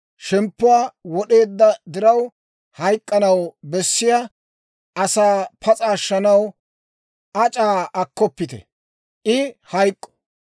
Shemppuwaa wod'eedda diraw hayk'k'anaw bessiyaa asaa pas'a ashshanaw ac'aa akkoppite; I hayk'k'o.